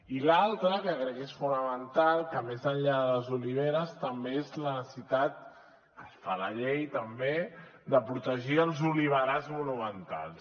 i l’altra que crec que és fonamental que més enllà de les oliveres també és la necessitat es fa a la llei també de protegir els oliverars monumentals